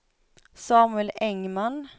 Samuel Engman